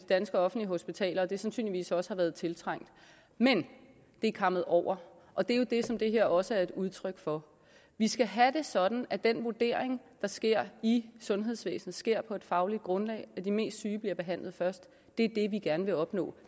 danske offentlige hospitaler og at det sandsynligvis også har været tiltrængt men det er kammet over og det er jo det som det her også er et udtryk for vi skal have det sådan at den vurdering der sker i sundhedsvæsenet sker på et fagligt grundlag så de mest syge bliver behandlet først det er det vi gerne vil opnå